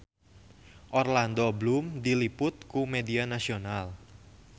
Orlando Bloom diliput ku media nasional